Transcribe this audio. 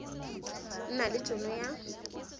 nna le t hono ya